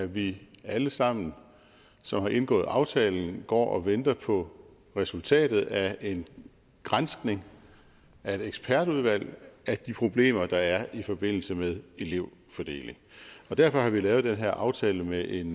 vi alle sammen som har indgået aftalen går og venter på resultatet af en granskning af et ekspertudvalg af de problemer der er i forbindelse med elevfordeling derfor har vi lavet den her aftale med en